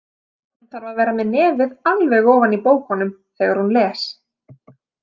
Hún þarf að vera með nefið alveg ofan í bókunum þegar hún les.